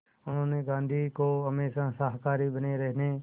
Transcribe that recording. उन्होंने गांधी को हमेशा शाकाहारी बने रहने